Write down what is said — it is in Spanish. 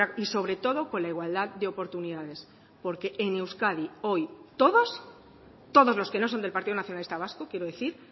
y sobre todo con la igualdad de oportunidades porque en euskadi hoy todos todos los que no son del partido nacionalista vasco quiero decir